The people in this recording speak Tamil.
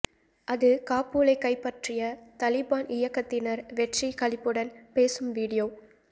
அது காபூலை கைப்பற்றிய தலிபான் இயக்கத்தினர் வெற்றி களிப்புடன் பேசும் வீடியோ